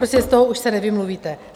Prostě z toho už se nevymluvíte.